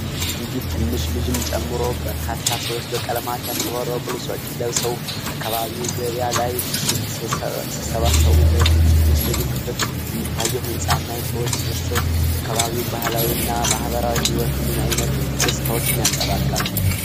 አንዲት ትንሽ ልጅን ጨምሮ በርካታ ሰዎች በቀለማት ያሸበረቁ ልብሶችን ለብሰው፣ በአካባቢያዊ ገበያ ላይ ሲሰባሰቡ፣፤ በዚህች የምስሉ ክፍል የሚታየው ህንፃ እና የሰዎች ስብስብ የአካባቢው ባህላዊ እና ማህበራዊ ህይወት ምን አይነት ገጽታዎችን ያንፀባርቃሉ?